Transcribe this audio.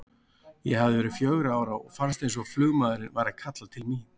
Ég hafði verið fjögurra ára og fannst eins og flugmaðurinn væri að kalla til mín.